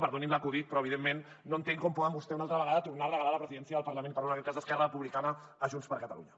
perdonin l’acudit però evidentment no entenc com poden vostès una altra vegada tornar a regalar la presidència del parlament i parlo en aquest cas d’esquerra republicana a junts per catalunya